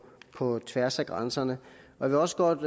tværs af grænserne jeg vil også godt